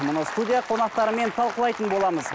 мұны студия қонақтарымен талқылайтын боламыз